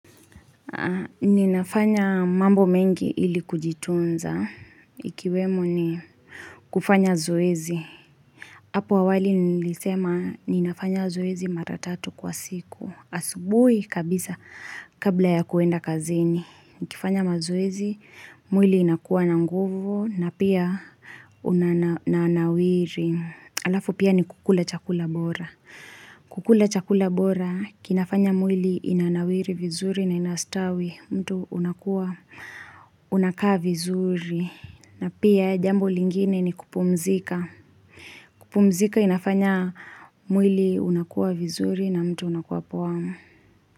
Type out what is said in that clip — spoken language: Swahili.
Ni nafanya mambo mengi ili kujitunza. Ikiwemo ni kufanya zoezi. Apo awali nilisema ni nafanya zoezi maratatu kwa siku. Asubui kabisa kabla ya kuenda kazeni. Ni kifanya mazoezi, mwili inakuwa na nguvu na pia unanawiri. Halafu pia ni kukula chakula bora. Kukula chakula bora, kinafanya mwili inanawiri vizuri na inastawi. Mtu unakua, unakaa vizuri. Na pia jambo lingine ni kupumzika. Kupumzika inafanya mwili unakua vizuri na mtu unakua poa.